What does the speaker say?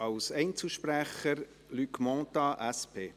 Als Einzelsprecher: Luc Mentha, SP.